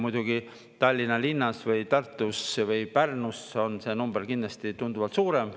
Muidugi Tallinna linnas või Tartus või Pärnus on see number kindlasti tunduvalt suurem.